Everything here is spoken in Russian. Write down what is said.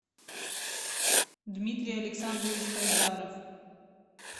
дмитрий александрович хайдаров